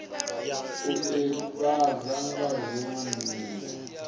u ivhadzwa nga dziwe nila